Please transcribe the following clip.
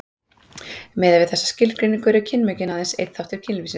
miðað við þessa skilgreiningu eru kynmökin aðeins einn þáttur kynlífsins